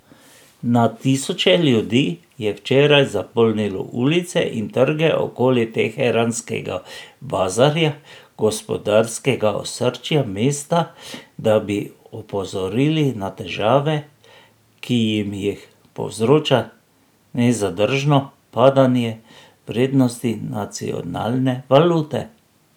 Na tisoče ljudi je včeraj zapolnilo ulice in trge okoli teheranskega bazarja, gospodarskega osrčja mesta, da bi opozorili na težave, ki jim jih povzroča nezadržno padanje vrednosti nacionalne valute.